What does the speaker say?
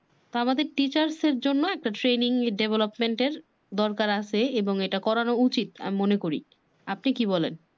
আমাদের teachers দের জন্য একটা training development এর দরকার আছে এবং এটা করানো উচিৎ আমি মনে করি। আপনি কি বলেন?